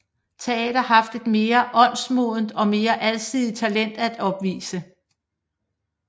Teater haft et mere åndsmodent og mere alsidigt talent at opvise